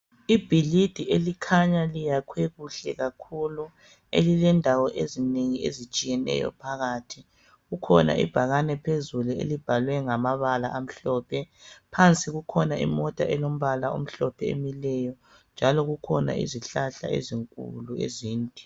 Ibhilidi elikhanya liyakhiwe kuhle kakhulu. Elilendawo ezinengi ezitshiyeneyo phakathi. Kukhona ibhakane phezulu, elibhalwe ngamabala amhlophe. Phansi kukhona imota elombala omhlophe emileyo, njalo kukhona izihlahla ezinkulu, ezinde.